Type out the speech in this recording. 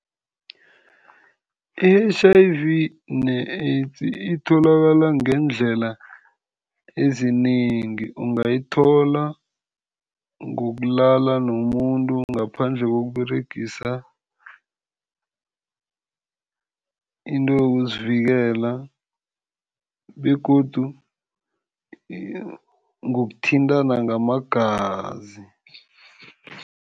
I-H_I_V ne-AIDS itholakala ngeendlela ezinengi, ungayithola ngokulala nomuntu ngaphandle kokUberegisa into yokuzivikela begodu ngokuthintana ngamagazi.